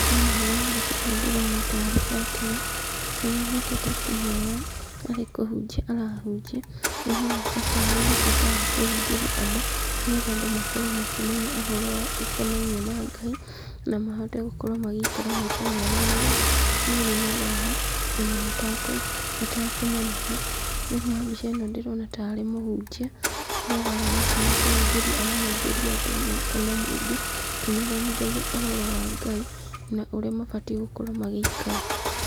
Thĩinĩ wa mbica ĩno ndĩrona tarĩ batĩrĩ, harĩa anyitĩte kĩmero arĩ kũhunjia arahunjia, nĩ aroneka tarĩ na bata wa kũhunjĩria andũ, nĩgetha andũ makorwo makĩmenya ũhoro wa ũkonainie na Ngai, na mahote gũkorwo magĩikara maica mega marĩa marĩ na thayũ, ona matakũ matakũmenana. Thĩinĩ wa mbica ĩno ndĩrona tarĩ mũhunjia, ũrĩa arahana tarĩ kũhunjĩria arahunjĩria andũ kana mũingĩ, akĩmathomithagia ũhoro wa Ngai, na ũrĩa mabatiĩ gũkorwo magĩikara.